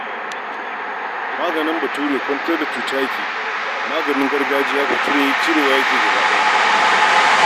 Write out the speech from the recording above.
Maganin Bature kwantar da cuta yake, maganin gargajiya cirewa yake yi gaba daya.